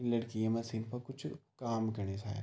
ये लड़की ये मशीन पर कुछ काम कनी शायद।